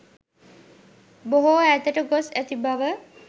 බොහෝ ඈතට ගොස් ඇති බව